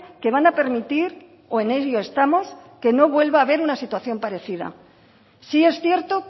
que van a permitir o en ello estamos que no vuelva a haber una situación parecida sí es cierto